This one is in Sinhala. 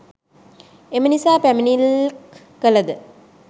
එම නිසා පැමිනිල්ක් කලද